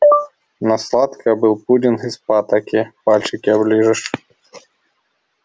на сладкое был пудинг из патоки пальчики оближешь